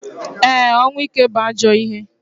E, ọnwụ ike bu ajọ ihe.